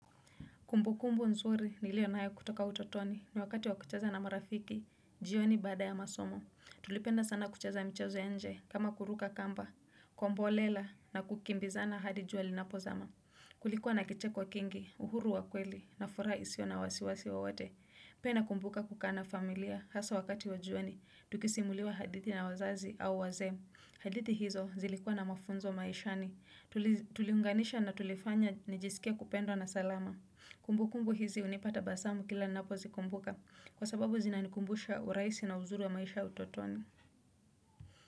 Kumbu kumbu nzuri nilio nayo kutoka utotoni ni wakati wakucheza na marafiki, jioni baada ya masomo. Tulipenda sana kucheza mchezo ya nje kama kuruka kamba, kombolela na kukimbizana hadi jua linapo zama. Kulikuwa na kicheko kingi, uhuru wa kweli na furaha isio na wasiwasi wowote. Pia nakumbuka kukaa na familia hasaa wakati wa jioni, tukisimuliwa hadithi na wazazi au wazee. Hadithi hizo zilikuwa na mafunzo maishani, tuliunganisha na tulifanya nijisikia kupendwa na salama. Kumbu kumbu hizi unipa tabasamu kila ninapo zikumbuka kwa sababu zinanikumbusha urahisi na uzuri wa maisha ya utotoni.